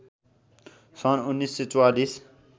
सन् १९४४